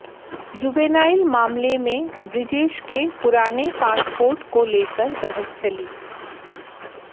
juvenile मामले में बृजेश के पुराने पासपोर्ट को लेकर बहस चली